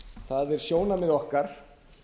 það er sjónarmið okkar